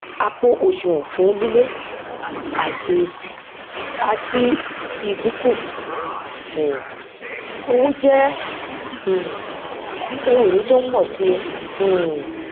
àpò òsùwòn fún lílé àti àti ìdíkù um owó jé um ohun ìní tó n pò si um